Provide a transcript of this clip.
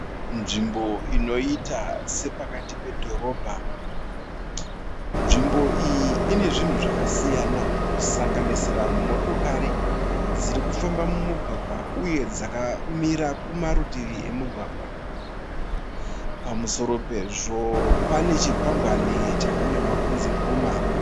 Nzvimbo inoita sepakati pedhorobha. Nzvimbo iyi ine zvinhu zvakasiyana kusanganisira motikari dziri kufamba mumugwagwa uye dzakamira kumarutivi emugwagwa. Pamusoro pezvo pane chikwangwani chakanyorwa kunzi Puma.